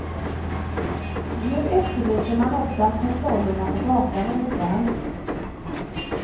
Nu efterlyser man också att kontrollerna på gatan ökar.